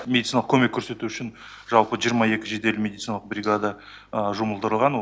медициналық көмек көрсету үшін жалпы жиырма екі жедел медициналық бригада жұмылдырылған